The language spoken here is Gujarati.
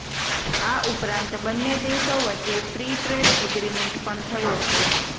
આ ઉપરાંત બંને દેશો વચ્ચે ફ્રી ટ્રેડ એગ્રીમેન્ટ પણ થયો છે